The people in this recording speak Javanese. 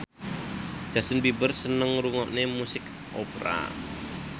Justin Beiber seneng ngrungokne musik opera